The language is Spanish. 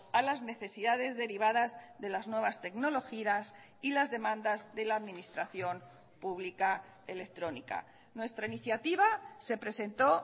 a las necesidades derivadas de las nuevas tecnologías y las demandas de la administración pública electrónica nuestra iniciativa se presentó